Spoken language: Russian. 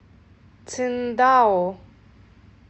циндао